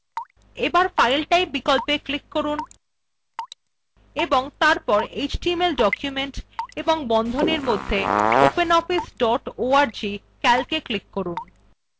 এবার file type বিকল্পে click করুন এবং তারপর html document এবং বন্ধনীর মধ্যে openoffice dot org calcএ click করুন